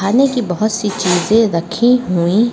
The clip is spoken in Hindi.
खाने की बहुत सी चीजें रखी हुई--